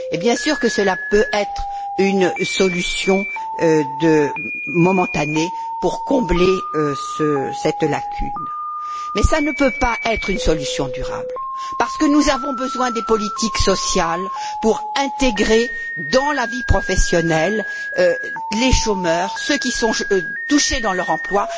Cela, bien sûr, peut être une solution momentanée pour combler une lacune, mais cela ne peut pas être une solution durable, parce que nous avons besoin des politiques sociales pour réintégrer dans la vie professionnelle les chômeurs, ceux qui sont touchés dans leur emploi.